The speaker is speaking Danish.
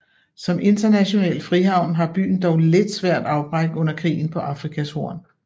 Som international frihavn har byen dog lidt svært afbræk under krigen på Afrikas horn